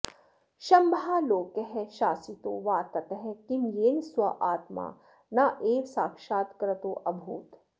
शंभोर्लोकः शासितो वा ततः किं येन स्वात्मा नैव साक्षात्कृतोऽभूत्